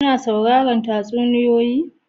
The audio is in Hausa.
Kina sauraran tatsuniyoyi?